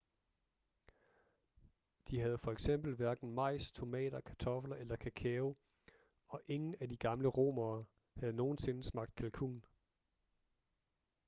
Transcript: de havde for eksempel hverken majs tomater kartofler eller kakao og ingen af de gamle romere havde nogensinde smagt kalkun